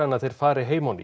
að þeir fari heim á ný